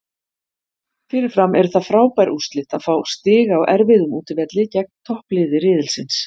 Fyrirfram eru það frábær úrslit að fá stig á erfiðum útivelli gegn toppliði riðilsins.